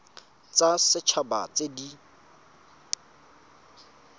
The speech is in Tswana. tsa set haba tse di